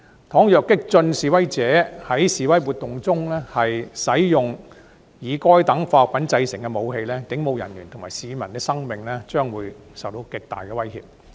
倘若激進示威者在示威活動中使用以該等化學品製造的武器，警務人員及市民的生命安全會受極大威脅。